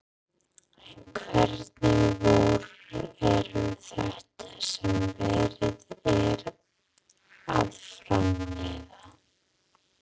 En hvernig vörur eru þetta sem verið er að framleiða?